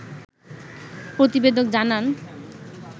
প্রতিবেদক জানান